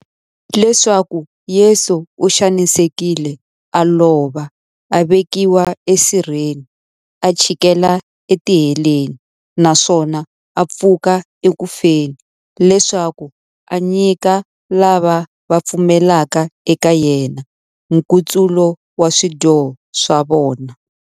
Leswaku Yesu u xanisekile, a lova, a vekiwa esirheni, a chikela etiheleni, naswona a pfuka eku feni, leswaku a nyika lava va pfumelaka eka yena, nkutsulo wa swidyoho swa vona.